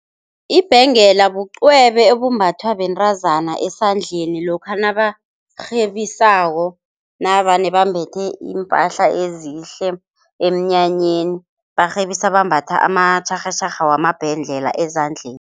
Ibhengela bucwebe obumbathwa bentazana esandleni, lokha nabarhebisako navane bambethe iimpahla ezihle emnyanyeni, barhebisa bambatha amatjharhatjharha wamabhengela ezandleni.